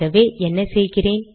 ஆகவே என்ன செய்கிறேன்